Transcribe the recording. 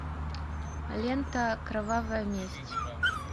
лента кровавая месть